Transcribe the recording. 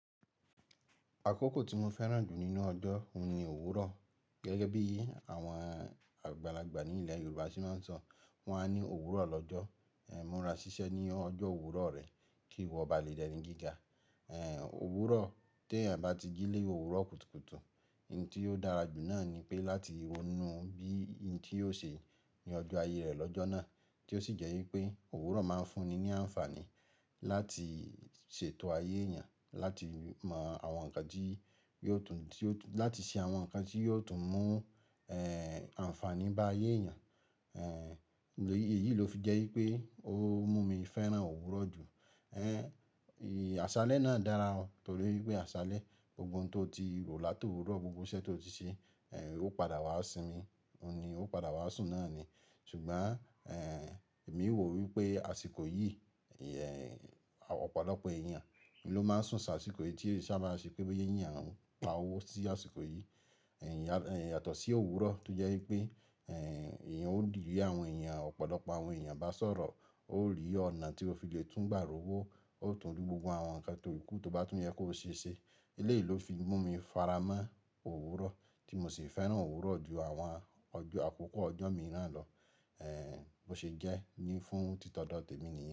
Àkókò tí mo fẹ́ràn jù nínú ọjọ́, òun ni òwúrọ̀. Gẹ́gẹ́ bí àwọn àgbàlagbà ní ilẹ̀ Yorùbá ṣe máa ń sọ, wọ́n á ní òwúrọ̀ lọ́jọ́, ẹ múra ṣiṣẹ́ ní ọjọ́ òwúrọ̀ rẹ kí ìwọ ba lè di eni gíga. Ẹ òwúrọ̀, tí ẹ́eyan bá ti jí ni òwúrọ̀ kùtùkùtù, ohun tí ó dára jù náà ni pé láti wo ohùn bí i ohun tí yóò ṣe ní ọjọ́ ayé rẹ̀ lọ́jọ́ náà tí ó sì jẹ́ wípé òwúrọ̀ máa ń fún ni ní àǹfààní láti ṣètò ayé èèyàn, láti mọ àwọn nǹkan tí yóò tún, láti ṣe àwọn nǹkan tí yóò tún mú àǹfààní bá ayé èèyàn. Èyí ló fi jẹ́ wípé ó mú mi fẹ́ràn òwúrọ̀ jù. Ẹ àṣálẹ́ náà dára o, torí pé àṣálẹ́, gbogbo ohun tó ti rọ̀ láti òwúrọ̀, gbogbo iṣẹ́ tó ti ṣe, ó padà wá sí mi, òun ni ó padà wá sùn náà ni. Ṣùgbọ́n èmi ò wò wípé àsìkò yìí, ọ̀pọ̀lọpọ̀ èèyàn ló máa ń sùn sa àsìkò yìí tí èe sabá ṣe pé bí i boya eeyan ń pa owó sí àsìkò yìí. Yàtọ̀ sí òwúrọ̀ tó jẹ́ wípé èèyàn ó lè rí àwọn èèyàn, ọ̀pọ̀lọpọ̀ àwọn èèyàn bá sọ̀rọ̀, ó rí ọ̀nà tí ó fi le tún gbà ró wó, ó tún rí gbogbo àwọn nǹkan tó kù tó bá tún yẹ kó ṣe ṣe. Eleyi ló fi mú mi faramọ́ òwúrọ̀ tí mo sì fẹ́ràn òwúrọ̀ ju àwọn ọjọ́ àkọ́kọ́ ọjọ́ mi náà lọ bó ṣe jẹ́ ní fún títọ̀dọ̀ témi ni.